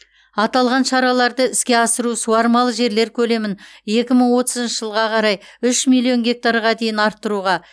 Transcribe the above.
аталған шараларды іске асыру суармалы жерлер көлемін екі мың отызыншы жылға қарай үш миллион гектарға дейін арттыруға